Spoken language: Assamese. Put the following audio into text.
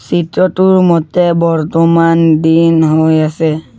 চিত্ৰটোৰ মতে বৰ্তমান দিন হৈ আছে।